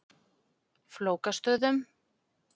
Flókastöðum